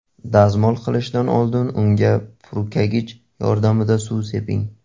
Dazmol qilishdan oldin unga purkagich yordamida suv seping.